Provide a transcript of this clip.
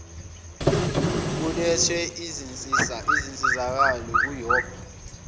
kulethwe izinsizakalo kuyop